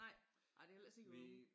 Nej det er ellers ikke